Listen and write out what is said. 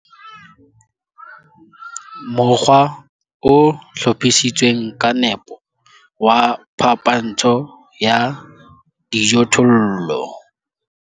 Mokgwa o hlophisitsweng ka nepo wa phapantsho ya dijothollo.